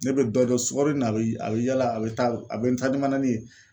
Ne bɛ dɔ dɔn sukaronin na a bɛ a bɛ yala a bɛ taa a bɛ n taa ni manani ye.